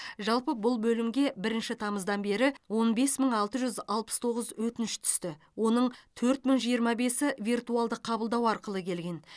жалпы бұл бөлімге бірінші тамыздан бері он бес мың алты жүз алпыс тоғыз өтініш түсті оның төрт мың жиырма бесі виртуалды қабылдау арқылы келген